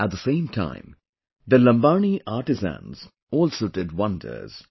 At the same time, the Lambani artisans also did wonders